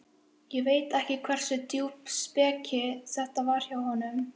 Ég veit ekki hversu djúp speki þetta var hjá honum.